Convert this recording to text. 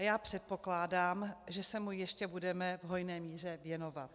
A já předpokládám, že se mu ještě budeme v hojné míře věnovat.